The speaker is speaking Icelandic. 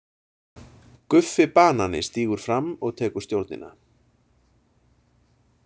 GUFFI BANANI stígur fram og tekur stjórnina.